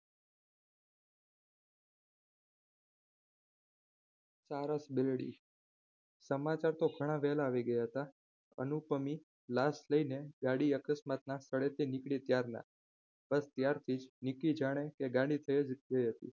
સારસ બેલડી સમાચાર તો ઘણા વહેલા આવી ગયા હતા અનુપમી લા સ્લઈને ગાડી અકસ્માતના સ્થળેથી નીકળી ત્યારના બસ ત્યારથી જ વિકી જાણે કે ગાડી ત્યાં જ હતી.